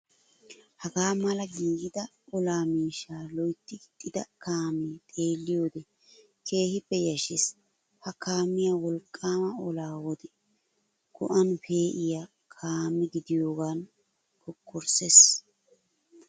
Hagaa mala giigida olaa miishshaa loytti gixxida kaamee xeelliyoode keehippe yashshes. Ha kaamiyaa wolqqaama olaa wode go"an pee"iyaa kaame gidiyoogaan kokkorsses.